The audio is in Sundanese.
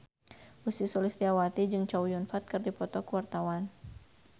Ussy Sulistyawati jeung Chow Yun Fat keur dipoto ku wartawan